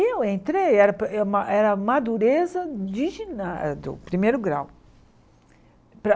Eu entrei, era para era a madureza de giná do primeiro grau. Para